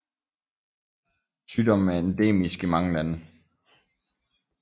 Sygdommen er endemisk i mange lande